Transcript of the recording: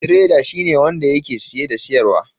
Tireda shine wanda yake siye da siyarwa.